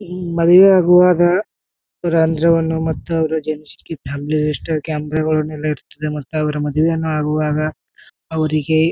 ಮ್ಮ್ ಮದುವೆ ಆಗುವಾಗ ರಂಜುವನ್ನು ಮತ್ತು ಅವರ ಕ್ಯಾಪಿಗಳನ್ನ ಇರ್ತ್ತದೆ ಮತ್ತೆ ಅವ್ರ ಮದುವೆಯನ್ನು ಆಗುವಾಗ ಅವ್ರಿಗೆ.